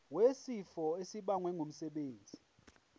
wesifo esibagwe ngumsebenzi